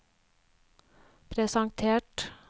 presentert